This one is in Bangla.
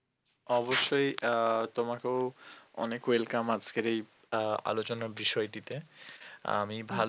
অবশ্যই আহ তোমাকেও অনেক welcome আজকের এই আলোচনা বিষয়টিতে, আমি ভালো